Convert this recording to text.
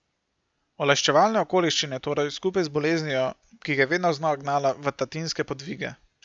Olajševalne okoliščine torej, skupaj z boleznijo, ki ga je vedno znova gnala v tatinske podvige.